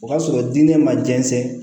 O ka sɔrɔ diinɛ ma jɛnsɛn